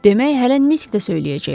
Demək, hələ nitq də söyləyəcəklər.